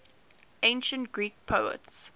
ancient greek poets